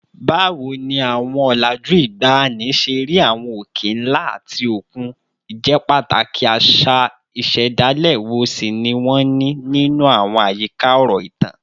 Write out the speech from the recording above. Báwo ni àwọn ọ̀làjú ìgbàanì ṣe rí àwọn òkè ńlá àti òkun, ìjẹ́pàtàkì àṣà ìṣẹ̀dálẹ̀ wo sì ni wọ́n ní nínú àwọn àyíká ọ̀rọ̀ ìtàn?